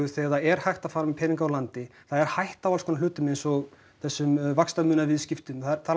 þegar það er hægt að fara með peninga úr landi það er hætta á allskonar hlutum eins og þessum vaxtamunaviðskiptum það eru